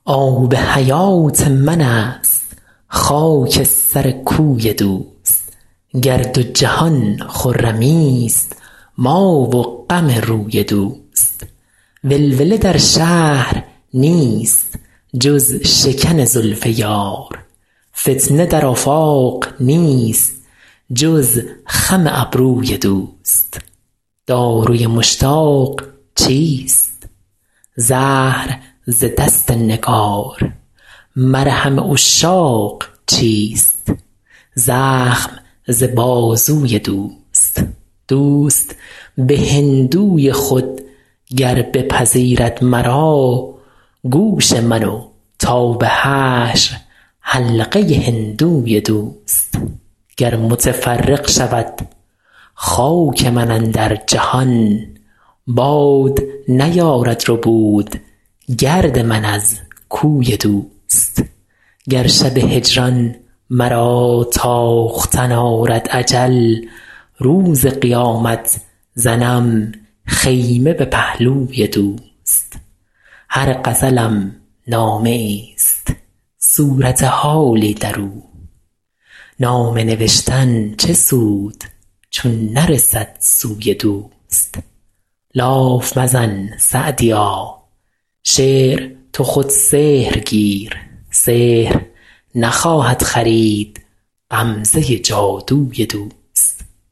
آب حیات من است خاک سر کوی دوست گر دو جهان خرمیست ما و غم روی دوست ولوله در شهر نیست جز شکن زلف یار فتنه در آفاق نیست جز خم ابروی دوست داروی مشتاق چیست زهر ز دست نگار مرهم عشاق چیست زخم ز بازوی دوست دوست به هندوی خود گر بپذیرد مرا گوش من و تا به حشر حلقه هندوی دوست گر متفرق شود خاک من اندر جهان باد نیارد ربود گرد من از کوی دوست گر شب هجران مرا تاختن آرد اجل روز قیامت زنم خیمه به پهلوی دوست هر غزلم نامه ایست صورت حالی در او نامه نوشتن چه سود چون نرسد سوی دوست لاف مزن سعدیا شعر تو خود سحر گیر سحر نخواهد خرید غمزه جادوی دوست